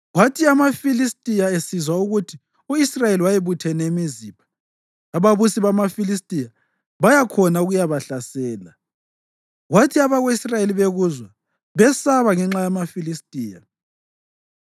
Kwathi amaFilistiya esizwa ukuthi u-Israyeli wayebuthene eMizipha, ababusi bamaFilistiya baya khona ukuyabahlasela. Kwathi abako-Israyeli bekuzwa, besaba ngenxa yamaFilistiya.